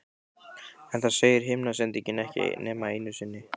En það segir himnasendingin ekki nema einu sinni.